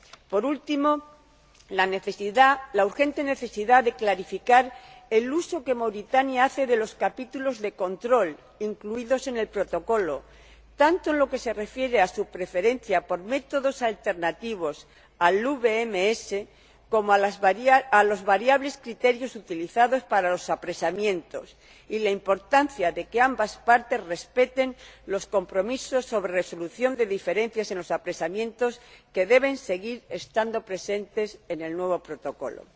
Por último, la urgente necesidad de clarificar el uso que Mauritania hace de los capítulos de control incluidos en el Protocolo, tanto en lo que se refiere a su preferencia por métodos alternativos, al SLB, como a los variables criterios utilizados para los apresamientos y la importancia de que ambas partes respeten los compromisos sobre resolución de diferencias en los apresamientos que deben seguir estando presentes en el nuevo Protocolo.